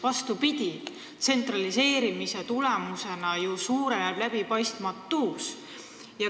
Vastupidi, tsentraliseerimise tulemusena suureneb ju läbipaistmatus.